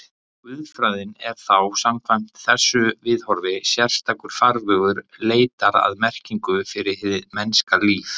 Guðfræðin er þá, samkvæmt þessu viðhorfi, sérstakur farvegur leitar að merkingu fyrir hið mennska líf.